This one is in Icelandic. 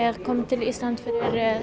kom til Íslands fyrir